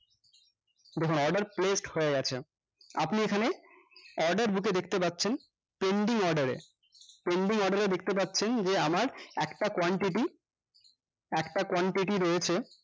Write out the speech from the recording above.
দেখুন order placed হয়ে গেছে আপনি এখানে order দিতে দেখতে পাচ্ছেন pending order এ pending order এ দেখতে পাচ্ছেন যে আমার একটা quantity একটা quantity রয়েছে